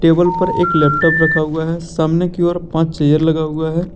Table पर एक laptop रखा हुआ है सामने की ओर पांच चेयर लगा हुआ है।